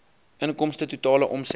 inkomste totale omset